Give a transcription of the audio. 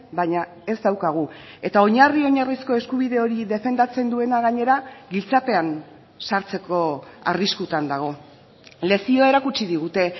baina ez daukagu eta oinarri oinarrizko eskubide hori defendatzen duena gainera giltzapean sartzeko arriskutan dago lezioa erakutsi digute